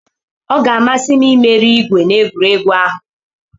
Ọ ga-amasị m imeri igwe na egwuregwu ahụ.